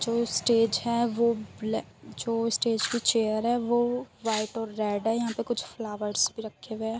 जो स्टेज हैं वो बले जो स्टेज पे चेयर हैं वो व्हाइट ओर रेड हैं। यहा पर कुछ फ्लावर्स भी रखे हुए हैं।